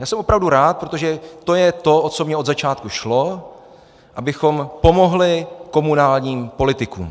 Já jsem opravdu rád, protože to je to, o co mně od začátku šlo, abychom pomohli komunálním politikům.